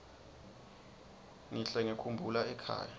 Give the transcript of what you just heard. ngihle ngikhumbula ekhaya